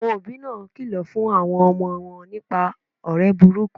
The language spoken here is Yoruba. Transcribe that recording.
Àwon òbí náà kìlò fún àwon omo won nípa òré burúkú